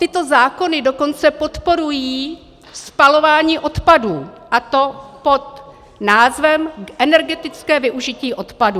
Tyto zákony dokonce podporují spalování odpadů, a to pod názvem energetické využití odpadů.